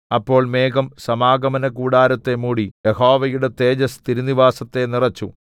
അപ്പോൾ മേഘം സമാഗമനകൂടാരത്തെ മൂടി യഹോവയുടെ തേജസ്സ് തിരുനിവാസത്തെ നിറച്ചു